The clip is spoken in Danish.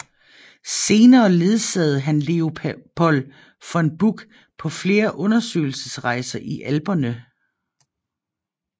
Senere ledsagede han Leopold von Buch på flere undersøgelsesrejser i Alperne